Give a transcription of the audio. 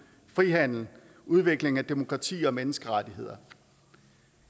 frihandel udvikling af demokrati og menneskerettigheder